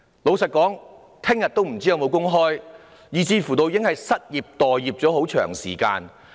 老實說，他們不知明天是否還有工開，有些人甚至已經失業、待業了很長時間。